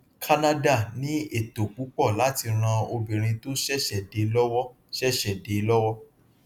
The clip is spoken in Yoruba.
kánádà ní ètò púpọ láti ràn obìnrin tó ṣẹṣẹ dé lọwọ ṣẹṣẹ dé lọwọ